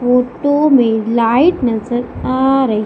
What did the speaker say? photo में light नजर आ रही--